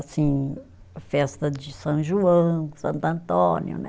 Assim, festa de São João, Santo Antônio, né?